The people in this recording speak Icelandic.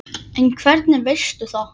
En hvernig veistu það?